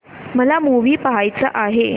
मला मूवी पहायचा आहे